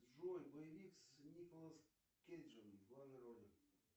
джой боевик с николас кейджем в главной роли